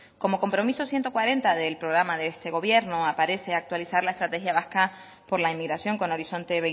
como compromiso ciento cuarenta del programa de este gobierno aparece actualizar la estrategia vasca por la inmigración con horizonte